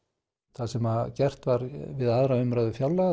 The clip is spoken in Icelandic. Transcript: það sem gert var við aðra umræðu fjárlaga